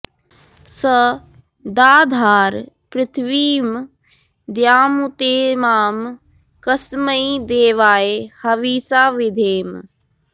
स दा॑धार पृथि॒वीं द्यामु॒तेमां कस्मै॑ दे॒वाय॑ ह॑विषा॑ विधेम